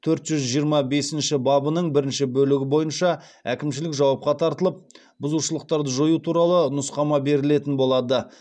төрт жүз жиырма бесінші бабының бірінші бөлігі бойынша әкімшілік жауапқа тартылып бұзушылықтарды жою туралы нұсқама берілетін болады